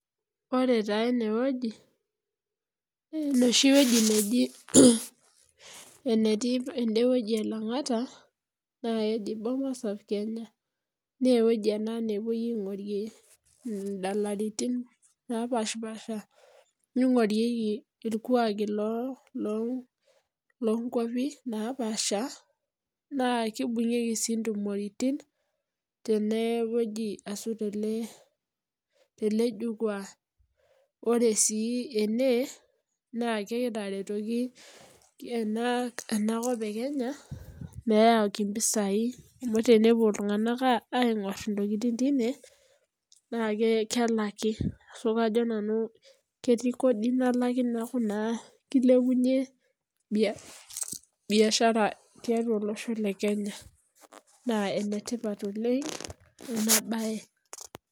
Ore taa enewueji naa ene neji Bomas of Kenya te Langata. Ewueji ene nepuoi aingorrie indalaitin naapasha orkuaki sii loo wuejitin naapasha. Neibungeki sii intumorritin teje jukua. Ore sii ene naa kegira are ena kop e Kenya peyie etum impisai amuu tenepuo iltunganak aingorr inkiguraitin, naa kelak iropiyiani. Neilepunye ina biasha tele osho le Kenya. Naa enetipat oleng inabae.